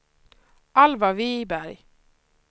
Alvar Wiberg